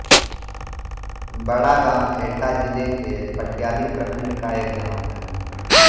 बड़ागाँव एटा जिले के पटियाली प्रखण्ड का एक गाँव है